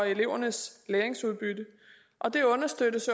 elevernes læringsudbytte og det understøttes